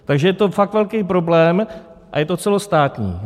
Takže je to fakt velký problém a není to celostátní.